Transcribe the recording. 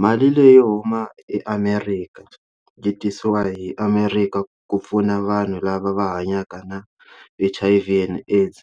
Mali leyi huma eAmerika yi tisiwa hi America ku pfuna vanhu lava va hanyaka na H_I_V and AIDS